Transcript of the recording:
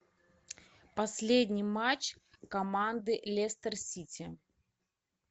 последний матч команды лестер сити